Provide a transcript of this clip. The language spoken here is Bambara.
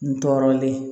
N tɔɔrɔlen